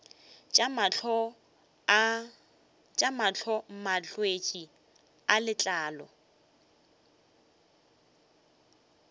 tša mahlo malwetse a letlalo